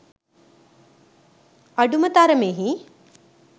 අඩුම තරමෙහි